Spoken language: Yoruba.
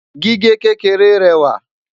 gígé kékeré réwà